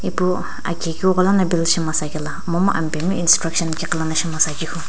pu aki keughola build simasa kae na momu apae mi instruction kighi liina shima Sa kehu.